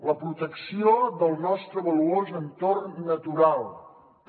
la protecció del nostre valuós entorn natural també